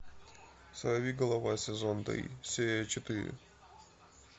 сорви голова сезон три серия четыре